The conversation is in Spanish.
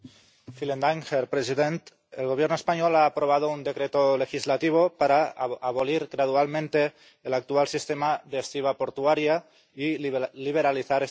Señor presidente, el Gobierno español ha aprobado un decreto legislativo para abolir gradualmente el actual sistema de estiba portuaria y liberalizar este sector.